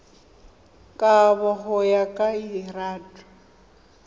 kabo go ya ka lrad